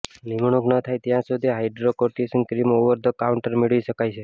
નિમણૂક ન થાય ત્યાં સુધી hydrocortisone cream over the counter મેળવી શકાય છે